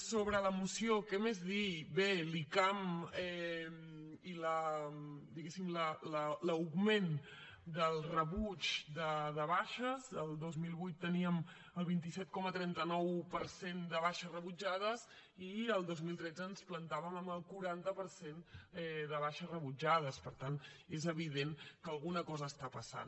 sobre la moció què més dir bé l’icam i diguéssim l’augment del rebuig de baixes el dos mil vuit teníem el vint set coma trenta nou per cent de baixes rebutjades i el dos mil tretze ens plantàvem en el quaranta per cent de baixes rebutjades per tant és evident que alguna cosa passa